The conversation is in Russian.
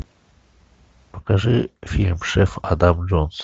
покажи фильм шеф адам джонс